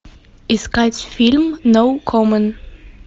искать фильм ноу коммент